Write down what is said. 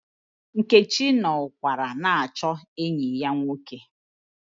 Nkechi nọ ụkwara na-achụ enyi ya nwoke.